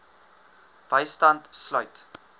bystand sluit